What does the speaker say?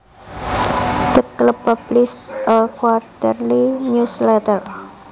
The club published a quarterly news letter